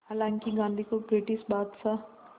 हालांकि गांधी को ब्रिटिश बादशाह